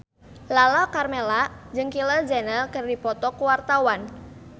Lala Karmela jeung Kylie Jenner keur dipoto ku wartawan